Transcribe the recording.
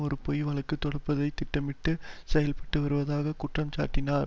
ஒரு பொய் வழக்கு தொடுப்பதற்கு திட்டமிட்டு செயல்பட்டு வருவதாக குற்றம்சாட்டினார்